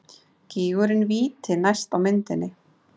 Gígurinn Víti næst á myndinni.